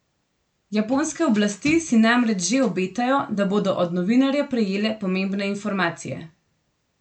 Japonske oblasti si namreč že obetajo, da bodo od novinarja prejele pomembne informacije.